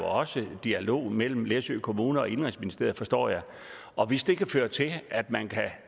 også var dialog mellem læsø kommune og indenrigsministeriet forstår jeg og hvis det kan føre til